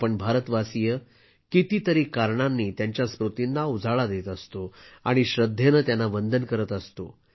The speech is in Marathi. आपण भारतवासीय कितीतरी कारणांनी त्यांच्या स्मृतींना उजाळा देत असतो आणि श्रद्धेनं त्यांना वंदन करत असतो